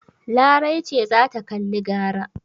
Larai ce za ta kalli gara.